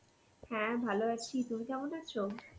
হ্যাঁ ভালো আছি. তুমি কেমন আছে৷?